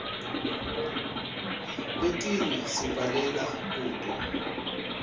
letinye sibhalela kuto